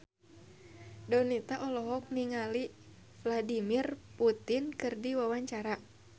Donita olohok ningali Vladimir Putin keur diwawancara